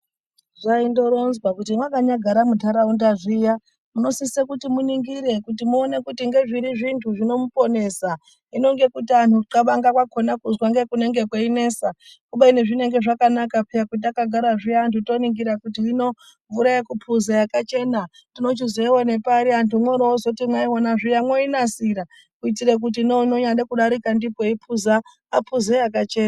Zvaindoronzwa kuti mwakanyagara muntaraunda zviya munosise kuti muningire kuti muone kuti ngezviri zvintu zvinomuponesa, hino ngekuti anhu kuncabanga kwakona kuzwa ngekunenge kweinesa kubeni zvinenge zvakanaka peya petakagara zviya toningira kuti hino mvura yekuphuza yakachena tinochizoiwone pari, antu mworoozoti mwaiona zviya mwoinasira kuitire kuti neunonyade kudarika ndipo eiphuza aphuze yakachena.